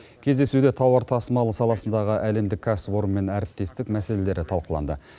кездесуде тауар тасымалы саласындағы әлемдік кәсіпорынмен әріптестік мәселелері талқыланды